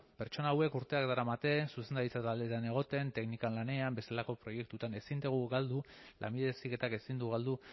pertsona hauek urteak daramate zuzendaritza taldetan egoten teknikan lanean bestelako proiektuetan ezin dugu galdu lanbide heziketak ezin du galdu